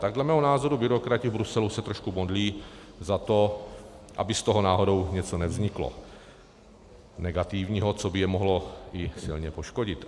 Tak dle mého názoru byrokrati v Bruselu se trošku modlí za to, aby z toho náhodou něco nevzniklo negativního, co by je mohlo i silně poškodit.